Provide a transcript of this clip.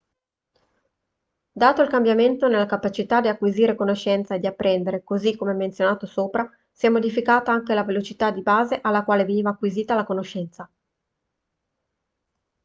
dato il cambiamento nella capacità di acquisire conoscenza e di apprendere così come menzionato sopra si è modificata anche la velocità di base alla quale veniva acquisita la conoscenza